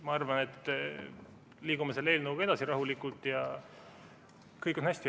Ma arvan, et liigume selle eelnõuga rahulikult edasi ja kõik on hästi.